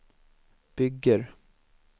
bygger